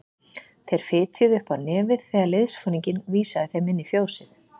Þeir fitjuðu upp á nefið þegar liðsforinginn vísað þeim inn í fjósið.